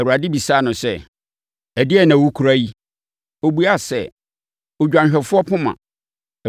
Awurade bisaa no sɛ, “Ɛdeɛn na wokura yi?” Ɔbuaa sɛ, “Odwanhwɛfoɔ poma.”